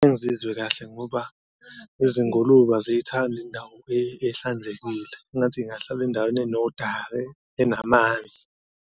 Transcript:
Ngizizwe kahle ngoba izingulube aziyithandi indawo ehlanzekile, engathi y'ngahlala endaweni enodaka, enamanzi.